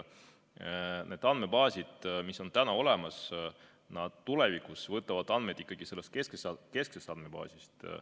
Need andmebaasid, mis on täna olemas, need võtavad tulevikus andmed kesksest andmebaasist.